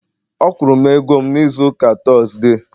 Ọ kwụrụ m ego m n'izuụka Tọzdee